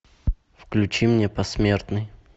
включи мне посмертный